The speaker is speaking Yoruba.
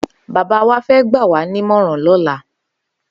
Baba wà fẹ̀ gbàwá nimọràn lọ̀là